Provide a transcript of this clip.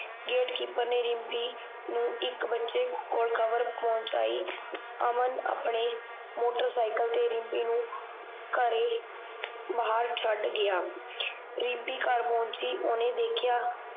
gatekeeper ਨੇ ਰਿਮਪੀ ਨੂੰ ਇੱਕ ਬੱਚੇ ਕੋਲ ਖਬਰ ਪਹੁੰਚਾਈ ਅਮਨ ਆਪਣੇ ਮੋਟੋਰਸਾਈਕਲ ਤੇ ਰਿਮਪੀ ਨੂੰ ਘਰੇ ਬਾਹਰ ਛਡ ਗਿਆ ਰਿਮਪੀ ਘਰ ਪਹੁੰਚੀ ਉਹਨੇ ਦੇਖਿਆ